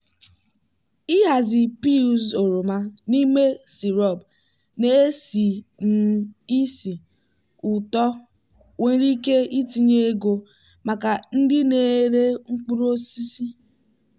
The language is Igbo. ịhazi peels oroma n'ime sirop na-esi um ísì ụtọ nwere ike itinye ego maka ndị na-ere mkpụrụ osisi.